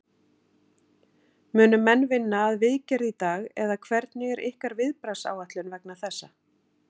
Munu menn vinna að viðgerð í dag eða hvernig er ykkar viðbragðsáætlun vegna þessa?